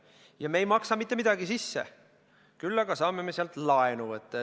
Ja me ei maksa mitte midagi sisse, küll aga saame me sealt laenu võtta.